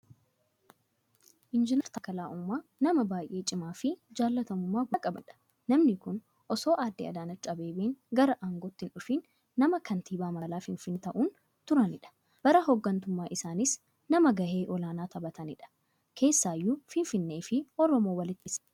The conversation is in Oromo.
Injinar Taakkalaa Uumaa, nama baay'ee cimaafi jaallatamummaa guddaa qabaniidha. Namni kun osoo Aadde Adaanech Abeebee gara aangootti hindhufin, nama kantiibaa magaalaa Finfinnee ta'uun turaniidha. bara hooggantummaa isaaniis nama gahee olaanaa taphataniidha. Keessaayyuu Finfinneefi Oromoo walitti hidhuu keessatti.